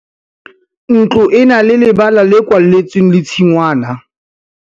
ntlo e na le lebala le kwalletsweng le tshingwana